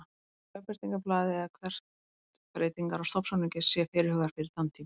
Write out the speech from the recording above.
Lögbirtingablaði eða hvort breytingar á stofnsamningi séu fyrirhugaðar fyrir þann tíma.